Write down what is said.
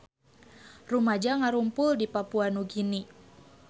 Rumaja ngarumpul di Papua Nugini